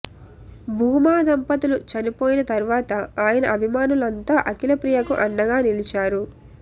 భూమా దంపతులు చనిపోయిన తర్వాత ఆయన అభిమానులంతా అఖిలప్రియకు అండగా నిలిచారు